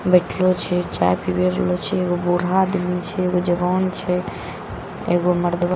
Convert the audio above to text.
बैठलो छे चाय पीबी रहलो छे एगो बूढ़ा आदमी छे एगो जवान छे एगो मर्दवा --